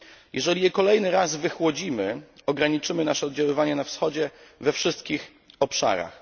Jeżeli je kolejny raz wychłodzimy, ograniczymy nasze oddziaływania na wschodzie we wszystkich obszarach.